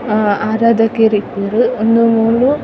ಅಹ್ ಅದ ದೆಕರೆ ಇಪ್ಪುಂಡು ಉಂದು ಮೂಲು --